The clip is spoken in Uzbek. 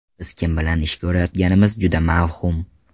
Biz kim bilan ish ko‘rayotganimiz juda mavhum.